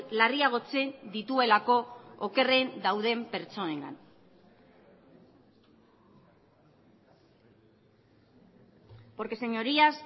larriagotzen dituelako okerren dauden pertsonengan porque señorías